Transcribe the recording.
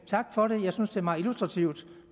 tak for det jeg synes det er meget illustrativt